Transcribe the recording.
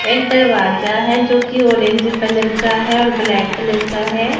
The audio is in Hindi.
एक दरवाजा है जोकि ऑरेंज कलर का है और ब्लैक कलर का है।